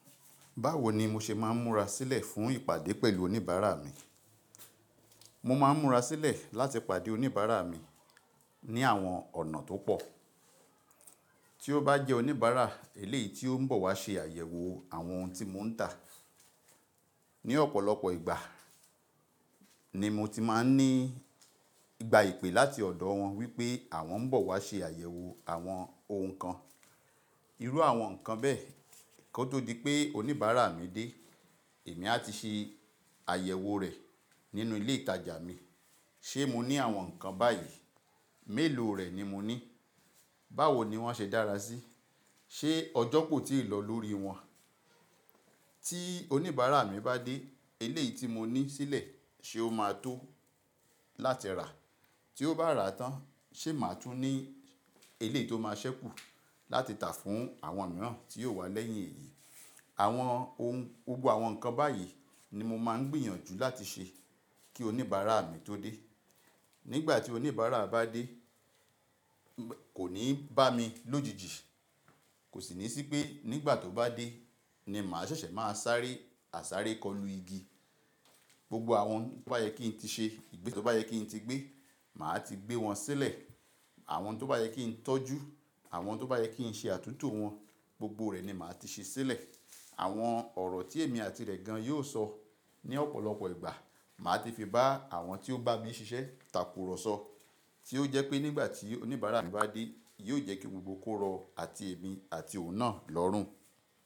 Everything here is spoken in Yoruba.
Báwo ni mo ṣe máa ń múra sílẹ̀ fún ìpàdé pẹ̀lú oníbàárà mi? Mo máa ń múra sílẹ̀ láti pàdé oníbàárà mi ní àwọn ọ̀nà tó pọ̀. Tí ó bá jẹ́ oníbàárà eléyìí tí ó ń bọ̀ wá ṣe àyẹ̀wò àwọn ohun tí mò ń tà. Ni ọ̀pọ̀lọpọ̀ ìgbà ni mo ti máa ń ní ìgbà ìpè láti ọ̀dọ̀ wọn wípé àwọn ń bọ̀ wá ṣe àyẹ̀wò àwọn ohun kan. Irú àwọn nǹkan bẹ́ẹ̀, kó tó di pé oníbàárà mi dé, èmi á ti ṣe àyẹ̀wò rẹ̀ nínú ilé ìtajà mi. Ṣé mo ní àwọn nǹkan báyìí? Mélòó rẹ̀ ni mo ní? Báwo ni wọ́n ṣe dára síi? Ṣé ọ̀jọ̀ koo ti lọ lórí wọn? Tí oníbàárà mi bá dé, eléyìí tí mo ní sílẹ̀ ṣe ó máa tó láti rà. Tí ó bá rà tán ṣe màá tún ní eléyìí tó máa ṣẹ́kù láti tà fún àwọn mìíràn tí yóò wá lẹ́yìn èyí. Àwọn ohun, gbogbo àwọn nǹkan báyìí ni mo máa ń gbìyànjú láti ṣe kí oníbàárà mi tó dé. Nígbà tí oníbàárà bá dé, kò ní bá mi lójijì. Kò sì ní sí pé nígbà tó bá dé ni màá ṣẹ̀ṣẹ̀ máa sáré àsáré kọlu igi. Gbogbo àwọn tó bá yẹ kí n ti ṣe, ìgbésẹ̀ tó bá yẹ kí n ti gbé, màá ti gbé wọn sílẹ̀. Àwọn n tó bá yẹ kí n tọ́jú, àwọn tó bá yẹ kí n ṣe àtúntò wọn, gbogbo rẹ̀ ni màá ti ṣe sílẹ̀. Àwọn ọ̀rọ̀ tí èmi àti rẹ̀ gan yóò sọ ní ọ̀pọ̀lọpọ̀ ìgbà, màá ti fi bá àwọn tí ó bá mi ṣiṣẹ́ takùrọ̀sọ. Tí ó jẹ́ pé nígbà tí oníbàárà mi bá dé, yóò jẹ́ kí gbogbo kó rọ̀ àti èmi àti òun náà lọ́rùn.